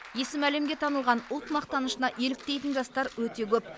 есімі әлемге танылған ұлт мақтанышына еліктейтін жастар өте көп